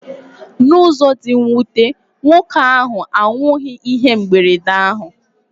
N'ụzọ dị mwute, nwoke ahụ anwụghị ihe mberede ahụ.